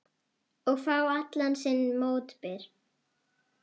Og fá allan sinn mótbyr.